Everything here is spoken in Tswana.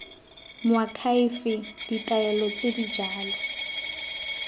moakhaefe ditaelo tse di jalo